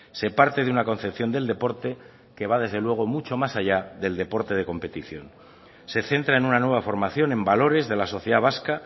se parte de una concepción del deporte que va desde luego mucho más allá del deporte de competición se centra en una nueva formación en valores de la sociedad vasca